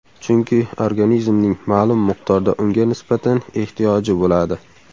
Chunki organizmning ma’lum miqdorda unga nisbatan ehtiyoji bo‘ladi.